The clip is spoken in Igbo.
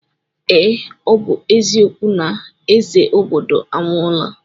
Ee, ọ bụ eziokwu na eze obodo anwụọla.